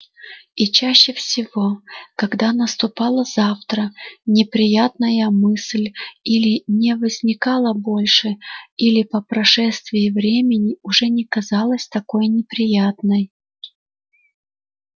и чаще всего когда наступало завтра неприятная мысль или не возникала больше или по прошествии времени уже не казалась такой неприятной